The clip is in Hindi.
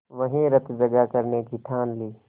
वहीं रतजगा करने की ठान ली